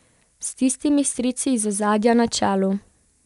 S tistimi strici iz ozadja na čelu.